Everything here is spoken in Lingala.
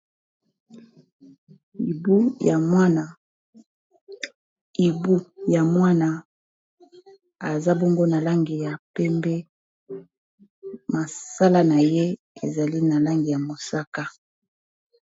ibu ya mwana aza bongo na langi ya pembe masala na ye ezali nalangi ya mosaka